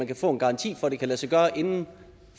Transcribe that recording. kan få en garanti for at det kan lade sig gøre inden